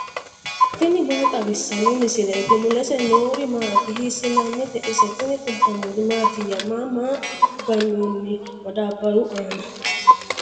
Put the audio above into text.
tini maa xawissanno misileeti ? mulese noori maati ? hiissinannite ise ? tini kultannori mattiya? Maa maa ganoonni madaabaru aanna?